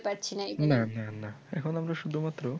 না না না এখন আমরা শুধুমাত্র